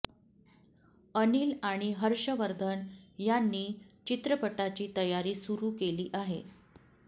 अनिल आणि हर्षवर्धन यांनी चित्रपटाची तयारी सुरु केली आहे